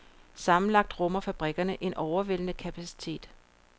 Sammenlagt rummer fabrikkerne en overvældende kapacitet.